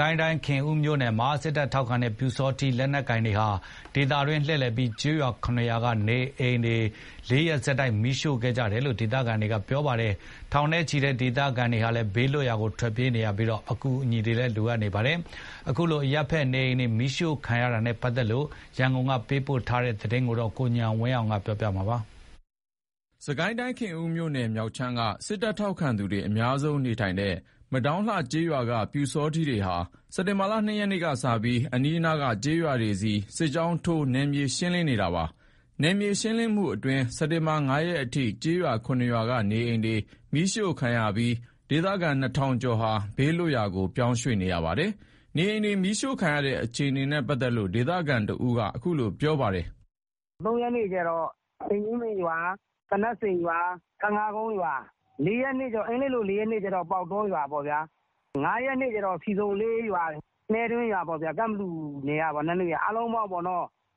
ကိုင်းတိုင်း ခင်ဦးမြို့နယ်မှာ စစ်တပ်ထောက်ခံတဲ့ ပျူစောထီးတွေက နယ်မြေရှင်း စစ်ကြောင်းထိုးနေပြီး ကျေးရွာ ၇ ရွာက နေအိမ်တွေ ၄ ရက်ဆက်တိုက် မီးရှို့ခံရတယ်လို့ ဒေသခံတွေက ပြောပါတယ်။ ထောင်နဲ့ချီတဲ့ ဒေသခံတွေ ဘေးလွတ်ရာ ရွှေ့ပြောင်းနေရသလို အကူအညီတွေလည်း လိုအပ်နေပါတယ်။ ခင်ဦးမြို့နယ်ထဲက အရပ်သားနေအိမ်တွေ မီးရှို့ခံရတဲ့အခြေအနေ ရန်ကုန်က သတင်းပေးပို့တာကို ကိုဉာဏ်ဝင်းအောင်ကတင်ပြပေးထားပါတယ်။ စစ်ကိုင်းတိုင်း ခင်ဦးမြို့နယ်မြောက်ခြမ်းက စစ်တပ်ထောက်သူတွေ အများဆုံးနေထိုင်တဲ့ မဒေါင်းလှကျေးရွာက ပျူစောထီးတွေဟာ စက်တင်ဘာ ၂ ရက်ကစပြီး အနီးနားက ကျေးရွာတွေဆီ စစ်ကြောင်းထိုး နယ်မြေရှင်းလင်းနေတာပါ။ နယ်မြေရှင်းလင်းရေးအတွင်း စက်တင်ဘာ ၅ ရက်အထိ ကျေးရွာ ၇ ရွာက နေအိမ်တွေ မီးရှို့ခံရပြီး ဒေသခံ ၂,၀၀၀ ကျော်ဟာ ဘေးလွတ်ရာတွေ ပြောင်းရွှေ့နေရပါတယ်။ နေအိမ်တွေ မီးရှို့ခံရတဲ့ အခြေအနေနဲ့ ပတ်သက်လို့ ဒေသခံတဦးက အခုလို ပြောပါတယ်။ "အင်္ဂလိပ်လို ၂ ရက်နေ့က ငါးကြိုင်းရွာ၊ ၃ ရက်နေ့ကျတော့ အင်ကြင်းပင်ရွာ၊ သနပ်စိန်ရွာ၊ ဖန်ခါးကုန်းရွာ။ ၄ ရက်နေ့က ပေါက်တောရွာ။ ၅ ရက်နေ့က ဆီဆုံလေးရွာ၊ နှဲတွင်းရွာ၊ ကန့်ဘလူနယ်ထဲက အားလုံးပေါင်း ၄ ရက်အတွင်း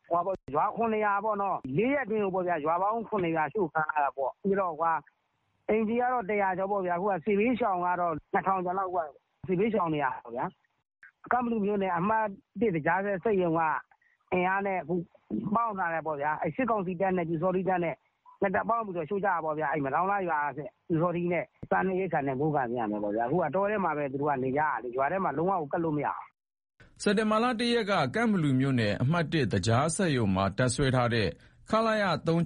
ရွာပေါင်း ၇ ရွာအရှို့ခံရတယ်။ အိမ်ခြေကတော့ ၁၀၀ ကျော် စစ်ဘေးရှောင်ကတော့ ၂,၀၀၀ ကျော်လောက်ပေါ့။ ပျူခြံက ပျူတွေနဲ့ ကန့်ဘလူ အမှတ် သကြားစက်ရုံက အင်အားနဲ့ ပေါင်းထားတယ်ပေါ့။ စစ်ကောင်စီတပ်နဲ့ ပျူစောထီးတပ် ၂ တပ်ပေါင်းပြီးရှို့ကြတာ။ စားနပ်ရိက္ခာနဲ့ မိုးကာနဲ့လိုအပ်တယ်။ အခုက သူတို့က တောထဲမှာပဲနေကြရတာ ရွာထဲကို လုံးဝကပ်လို့မရဘူး။" စက်တင်ဘာ ၁ ရက်က ကန့်ဘလူမြို့နယ် အမှတ် သကြားစက်ရုံမှာ တပ်စွဲထားတဲ့ ခလရ တပ်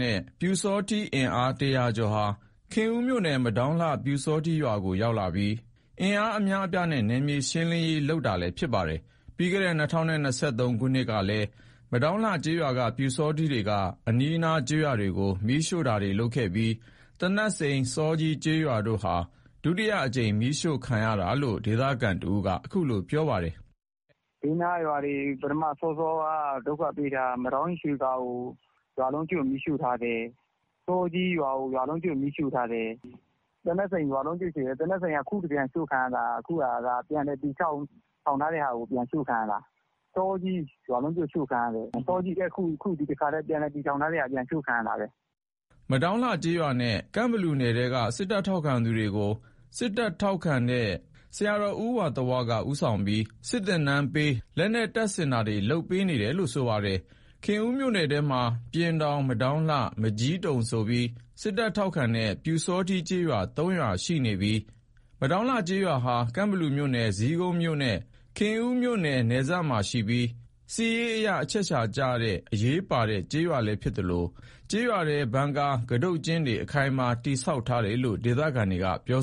နဲ့ ပျူစောထီးအင်အား ၁၀၀ ကျော်ဟာ ခင်ဦးမြို့နယ် မဒေါင်းလှ ပျူစောထီးရွာကို ရောက်လာပြီး အင်အားအများအပြားနဲ့ နယ်မြေရှင်းလင်းရေး လုပ်နေတာလည်းဖြစ်ပါတယ်။ ပြီးခဲ့တဲ့ ၂၀၂၃ ခုနှစ်ကလည်း မဒေါင်းလှကျေးရွာက ပျူစောထီးတွေက အနီးနားကျေးရွာတွေမီးရှို့ခဲ့ပြီး သနပ်စိန်၊ စောကြီးကျေးရွာတို့ဟာ ဒုတိယအကြိမ် မီးရှို့ခံရတာလို့ ဒေသခံတဦးက အခုလို ပြောပါတယ်။ "ဘေးနားကရွာတွေကို ဒုက္ခပေးတာက ပထအစောတုန်းက မဒေါင်းကြီး ရွှေသာကို မီးရှို့ထားတယ်။ စောကြီးရွာကို ရွာလုံးကျွတ်မီးရှို့ထားတယ်။ သနပ်စိန် ရွာလုံးကျွတ်ရှို့ခံရတယ်။ သနပ်စိန်က အခုတကြိမ်ရှို့ခံရတာက ပြန်လည်တည်ဆောက်ထားတဲ့ဟာကို ရှို့ခံရတာ။ စောကြီးလည်း ပြန်လည်တည်ထောင်ထားတဲ့ဟာ အရှို့ခံရတာပဲ။" မဒေါင်းလှကျေးရွာနဲ့ ကန့်ဘလူနယ်ထဲက စစ်တပ် ထောက်ခံသူတွေကို စစ်တပ်ထောက်ခံတဲ့ ဝါသ၀ ဆရာတော်က ဦးဆောင်ပြီး စစ်သင်တန်းပေး၊ လက်နက်တွေလည်း တပ်ဆင်ပေးနေပါတယ်။ ခင်ဦးမြို့နယ်ထဲမှာ ပျဉ်ထောင် ၊ မဒေါင်းလှ ၊ မကျီးတုံဆိုပြီး စစ်တပ်ထောက်ခံတဲ့ ပျူစောထီးကျေးရွာ ၃ ရွာရှိပြီး မဒေါင်းလှကျေးရွာဟာ ကန့်ဘလူမြို့နယ် ဇီးကုန်းမြို့နဲ့ ခင်ဦးမြို့နယ်စပ်မှာရှိပြီး စစ်ရေးအရ အချက်အခြာကျအရေးပါတဲ့ကျေးရွာလည်းဖြစ်သလို ကျေးရွာထဲ ဘန်ကာ ကတုတ်ကျင်းတွေ အခိုင်အမာတည်ဆောက်ထားတယ်လို့ ဒေသခံတွေက ပြော